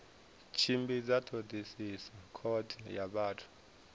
tshimbidza thodisiso khothe ya vhathu